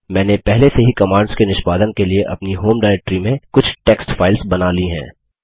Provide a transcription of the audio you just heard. मैंने पहले से ही कमांड्स के निष्पादन के लिए अपनी होम डायरेक्ट्री में कुछ टेक्स्ट फाइल्स बना ली हैं